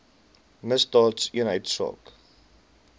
misdaadeenheidsaak